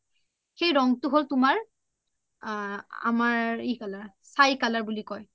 সেই ৰং হ’ল তুমাৰ আমাৰ ই চাই color বুলি কই